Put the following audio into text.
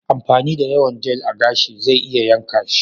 Amfani da yawan Jel a gashi zai iya yanka shi.